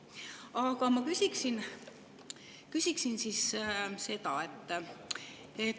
Aga ma küsin siis seda.